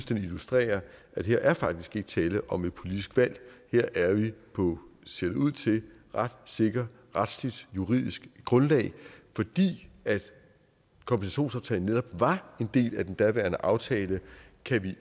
den illustrerer at her faktisk ikke er tale om et politisk valg her er vi på ser det ud til ret sikker retsligt juridisk grundlag fordi kompensationsaftalen netop var en del af den daværende aftale kan vi